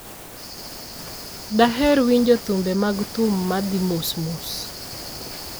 Daher winjo thumbe mag thum ma dhi mos mos